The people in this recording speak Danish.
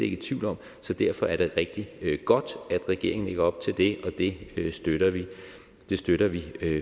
i tvivl om så derfor er det rigtig godt at regeringen lægger op til det og det støtter vi det støtter vi